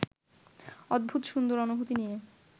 অদ্ভুত সুন্দর অনুভূতি নিয়ে